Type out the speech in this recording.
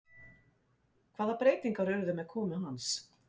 Hvaða breytingar urðu með komu hans?